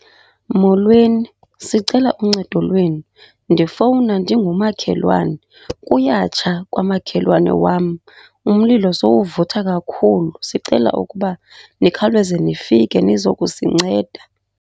Molweni, sicela uncedo lwenu. Ndifowuna ndingumakhelwane, kuyatsha kwamakhelwane wam umlilo sowuvutha kakhulu. Sicela ukuba nikhawuleze nifike nizokusinceda.